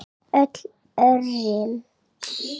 Öll örin.